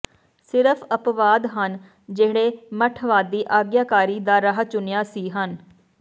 ਸਿਰਫ ਅੱਪਵਾਦ ਹਨ ਜਿਹੜੇ ਮੱਠਵਾਦੀ ਆਗਿਆਕਾਰੀ ਦਾ ਰਾਹ ਚੁਣਿਆ ਸੀ ਹਨ